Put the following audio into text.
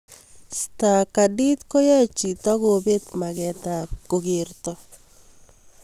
Stargardt ko yae chii kopet maget ab kokerto